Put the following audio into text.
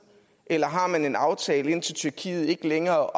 eller har man en aftale indtil tyrkiet ikke længere